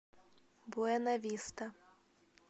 буэнависта